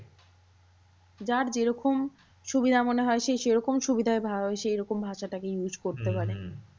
যার যেরকম সুবিধা মনে হয় সে সেরকম সুবিধা সেরকম ভাষা টাকে use করতে পারে।